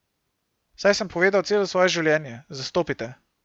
Saj sem povedal celo svoje življenje, zastopite.